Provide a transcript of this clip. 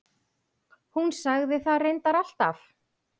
Hún sagði það reyndar alltaf.